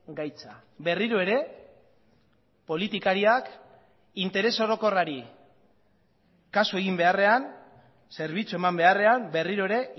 gaitza berriro ere politikariak interes orokorrari kasu egin beharrean zerbitzu eman beharrean berriro ere